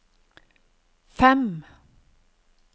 fem